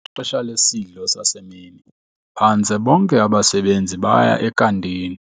Ngexesha lesidlo sasemini phantse bonke abasebenzi baya ekantini.